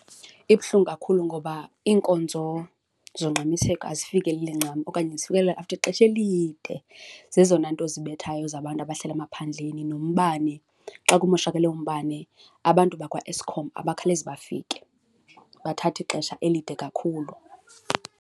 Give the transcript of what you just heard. Ibuhlungu kakhulu ngoba iinkonzo zongxamiseko azifikeleli ncam okanye zifikelele after ixesha elide. Zezona nto zibethayo zabantu abahlala emaphandleni, nombane. Xa kumoshakale umbane abantu bakwaEskom abakhawulezi bafike, bathatha ixesha elide kakhulu.